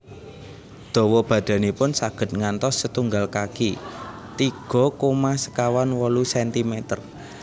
Dawa badanipun saged ngantos setunggal kaki tiga koma sekawan wolu sentimeter